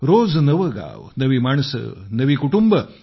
रोज नवे गाव नवी माणसे नवी कुटुंबे